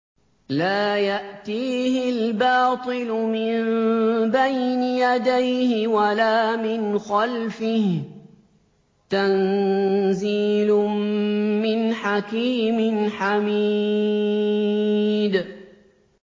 لَّا يَأْتِيهِ الْبَاطِلُ مِن بَيْنِ يَدَيْهِ وَلَا مِنْ خَلْفِهِ ۖ تَنزِيلٌ مِّنْ حَكِيمٍ حَمِيدٍ